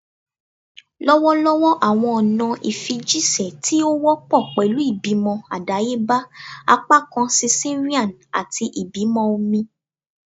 Lọwọlọwọ awọn ọna ifijiṣẹ ti o wọpọ pẹlu ibimọ adayeba, apakan cesarean, ati ibimọ omi